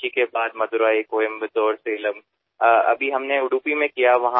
कोचीननंतर मदुराई कोयंबतूर सालेम आणि आत्ताच आम्ही उडुपीमध्ये ही मोहीम राबवली